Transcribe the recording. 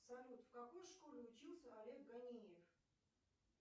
салют в какой школе учился олег ганиев